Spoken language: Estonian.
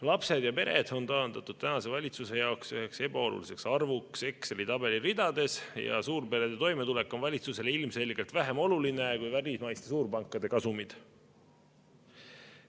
Lapsed ja pered on taandatud tänase valitsuse jaoks üheks ebaoluliseks arvuks Exceli tabeli ridades ja suurperede toimetulek on valitsusele ilmselgelt vähem oluline kui välismaiste suurpankade kasumid.